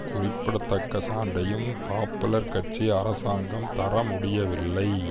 குறிப்பிடத்தக்க சான்றையும் பாப்புலர் கட்சி அரசாங்கம் தரமுடியவில்லை